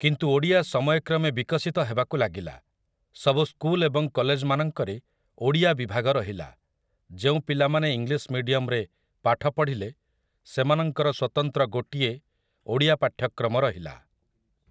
କିନ୍ତୁ ଓଡ଼ିଆ ସମୟକ୍ରମେ ବିକଶିତ ହେବାକୁ ଲାଗିଲା । ସବୁ ସ୍କୁଲ ଏବଂ କଲେଜମାନଙ୍କରେ ଓଡ଼ିଆ ବିଭାଗ ରହିଲା । ଯେଉଁ ପିଲାମାନେ ଇଲିଂଶ୍ ମିଡିୟମରେ ପାଠ ପଢ଼ିଲେ ସେମାନଙ୍କର ସ୍ୱତନ୍ତ୍ର ଗୋଟିଏ ଓଡ଼ିଆ ପାଠ୍ୟକ୍ରମ ରହିଲା ।